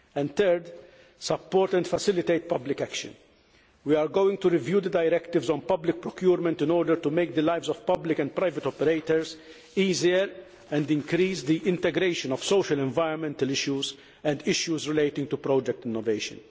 Thirdly, support and facilitate public action. We are going to review the directives on public procurement in order to make the lives of public and private operators easier and increase the integration of social and environmental issues and issues relating to project innovation.